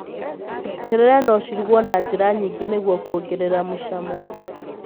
Terere no cirugwo na njĩra nyingĩ nĩguo kuongererea mũcamo.